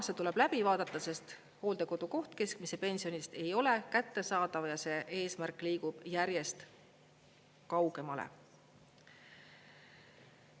See tuleb läbi vaadata, sest hooldekodukoht keskmise pensioni eest ei ole kättesaadav ja see eesmärk liigub järjest kaugemale.